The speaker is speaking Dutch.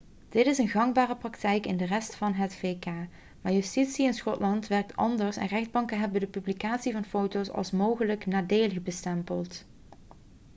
dit is gangbare praktijk in de rest van het vk maar justitie in schotland werkt anders en rechtbanken hebben de publicatie van foto's als mogelijk nadelig bestempeld